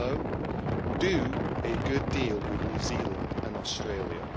So do a good deal with New Zealand and Australia.